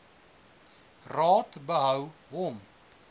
raad behou hom